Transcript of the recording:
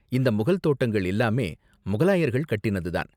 இந்த முகல் தோட்டங்கள் எல்லாமே முகலாயர்கள் கட்டினது தான்.